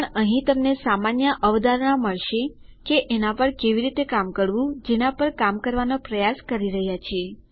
પણ અહીં તમને સામાન્ય અવધારણા મળશે કે એના પર કેવી રીતે કામ કરવું જેના પર કામ કરવાનો પ્રયાસ કરી રહ્યા છીએ